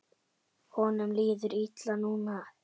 Honum líður illa núna.